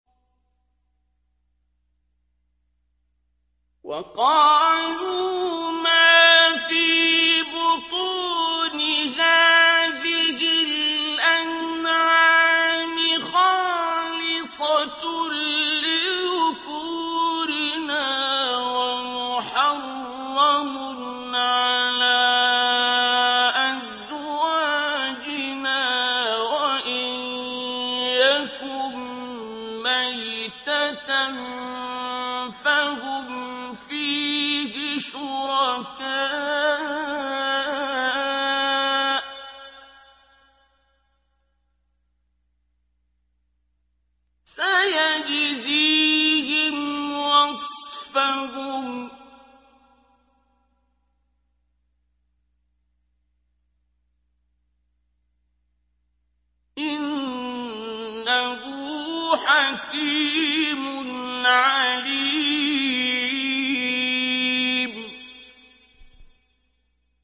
وَقَالُوا مَا فِي بُطُونِ هَٰذِهِ الْأَنْعَامِ خَالِصَةٌ لِّذُكُورِنَا وَمُحَرَّمٌ عَلَىٰ أَزْوَاجِنَا ۖ وَإِن يَكُن مَّيْتَةً فَهُمْ فِيهِ شُرَكَاءُ ۚ سَيَجْزِيهِمْ وَصْفَهُمْ ۚ إِنَّهُ حَكِيمٌ عَلِيمٌ